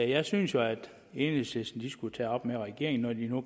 jeg synes jo at enhedslisten skulle tage det op med regeringen når de nu